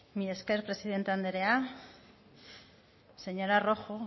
mila esker presidente anderea señora rojo